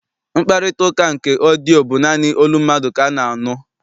Mkparịtaụka nke ọdịyio bụ naanị olu mmadụ ka a na-anụ.